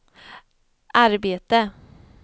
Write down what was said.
arbete